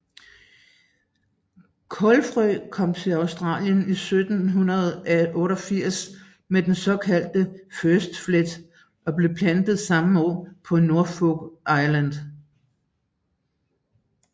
Kålfrø kom til Australien i 1788 med den såkaldte First Fleet og blev plantet samme år på Norfolk Island